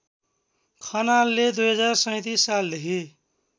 खनालले २०३७ सालदेखि